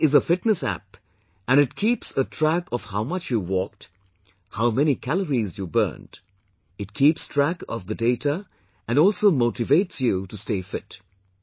This is a fitness app and it keeps a track of how much you walked, how many calories you burnt; it keeps track of the data and also motivates you to stay fit